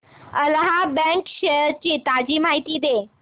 Allahabad bank shares ची ताजी माहिती दे